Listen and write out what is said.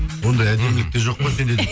ондай әдемілік те жоқ қой сенде